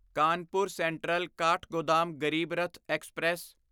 Kanpur central Kathgodam Garib Rath express